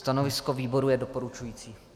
Stanovisko výboru je doporučující.